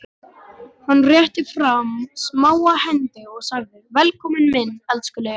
Hann rétti fram smáa hendi og sagði: Velkominn minn elskulegi vinur.